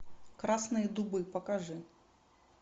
красные дубы покажи